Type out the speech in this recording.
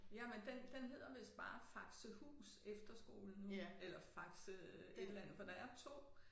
Jamen den den hedder vist bare Faxehus Efterskole nu eller Faxe et eller andet for der er 2